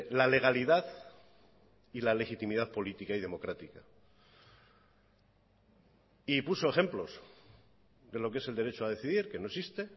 la legalidad y la legitimidad política y democrática y puso ejemplos de lo que es el derecho a decidir que no existe